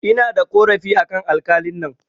Ina da ƙorafi akan alƙalin nan